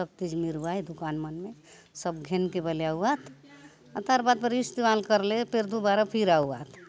सब चीज़ मिरवाए दुकान मन में सब घिन के बलिया हुआ आत अतर पर इस्तेमाल कर ले फिर दोबारा फिर आउ आत --